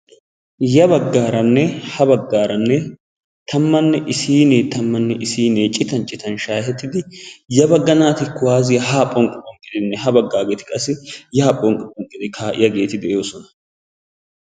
Ya baggaranne ha baggara tammanne issinne tammanne issinne citan citan shaahettidi ya bagga naati kuwassiya ha phonqqi phonqqi ya baggageeti phonqqi phonqqi kaa'iyaageeti de'oosona.